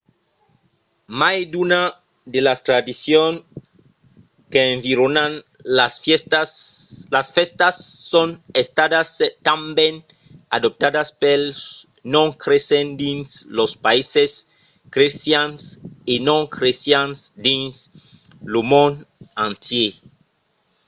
mai d'una de las tradicions qu'environan las fèstas son estadas tanben adoptadas pels non cresents dins los païses crestians e non crestians dins lo mond entièr